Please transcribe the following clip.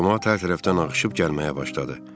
Camaat hər tərəfdən ağışıb gəlməyə başladı.